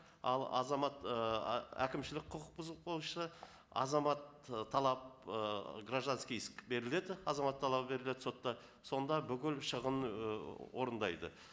ал азамат ы әкімшілік құқық бұзық бойынша азамат ы талап ы гражданский иск беріледі азамат талабы беріледі сотта сонда бүкіл шығын ы орындайды